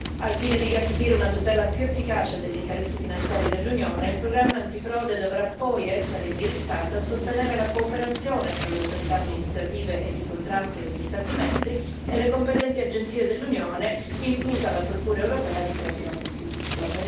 Al fine di garantire una tutela più efficace degli interessi finanziari dell'Unione, il programma antifrode dovrà poi essere indirizzato a sostenere la cooperazione fra le autorità amministrative e di contrasto degli Stati membri e le competenti agenzie dell'Unione, inclusa la Procura europea di prossima costituzione.